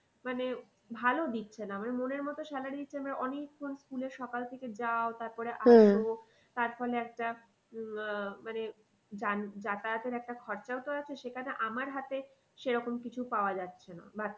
মানে ভালো দিচ্ছে না মানে মনের মতো salary দিচ্ছে না মানে অনেকক্ষন school এ সকাল থেকে যাও তারপরে তার ফলে একটা আহ মানে যাতায়াতের একটা খরচাও তো আছে সেখানে আমার হাতে সেরকম কিছু পাওয়া যাচ্ছে না।